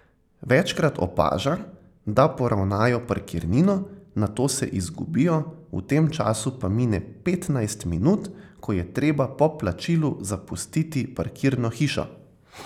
Večkrat opaža, da poravnajo parkirnino, nato se izgubijo, v tem času pa mine petnajst minut, ko je treba po plačilu zapustiti parkirno hišo.